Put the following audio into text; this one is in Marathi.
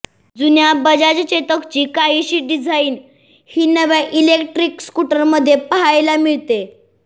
जुन्या बजाज चेतकची काहीशी डिझाईन ही नव्या इलेक्ट्रिक स्कूटरमध्ये पहायला मिळते